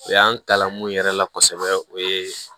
U y'an kalan mun yɛrɛ la kɔsɛbɛ o ye